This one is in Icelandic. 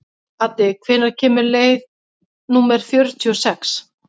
Addi, hvenær kemur leið númer fjörutíu og sex?